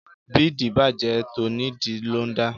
Bídìí bàjẹ́ tonídìí ló ń dà